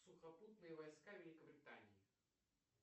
сухопутные войска великобритании